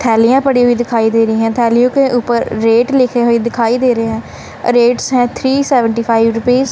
थैलिया पड़ी हुई दिखाई दे रही है थैलियां के ऊपर रेट लिखे हुए दिखाई दे रहे हैं रेट्स है थ्री सेविंटीफाइव रुपीस --